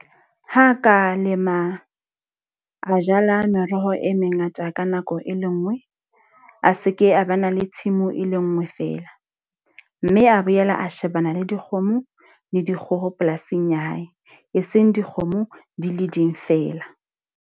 Ha ka lema, a jala meroho e mengata ka nako e le nngwe. A seke a ba na le tshimo e le nngwe fela. Mme a boela a shebana le dikgomo le dikgoho polasing ya hae, e seng dikgomo di le ding fela.